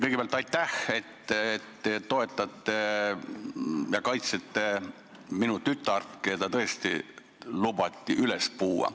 Kõigepealt aitäh, et te toetate ja kaitsete minu tütart, kes lubati tõesti üles puua.